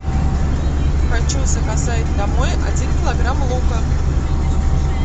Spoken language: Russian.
хочу заказать домой один килограмм лука